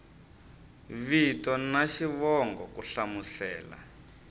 vito na xivongo ku hlamusela